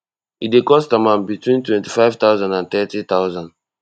e dey cost am am between twenty-five thousand and thirty thousand